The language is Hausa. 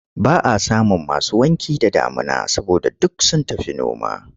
Ba a samun masu wanki da damuna saboda duk sun tafi noma.